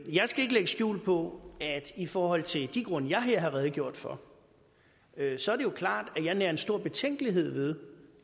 skal ikke lægge skjul på at i forhold til de grunde jeg her har redegjort for så er det klart at jeg nærer en stor betænkelighed ved